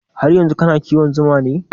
Har yanzu kana kiwon zuman ne?